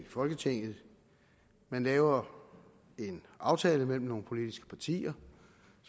folketinget man laver en aftale mellem nogle politiske partier